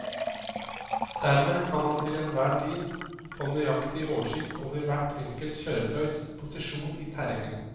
Dermed kan man til enhver tid få nøyaktig oversikt over hvert enkelt kjøretøys posisjon i terrenget.